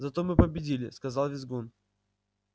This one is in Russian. зато мы победили сказал визгун